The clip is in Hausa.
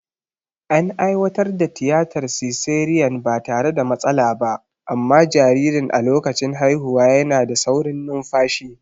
An aiwatar da tiyatar siseriyan ba tare da matsala ba, amma jaririn a lokacin haihuwa yana da saurin numfashi.